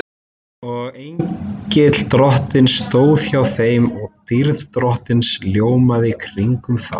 Og engill Drottins stóð hjá þeim og dýrð Drottins ljómaði kringum þá.